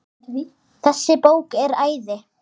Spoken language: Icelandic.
Þessi bók er æði.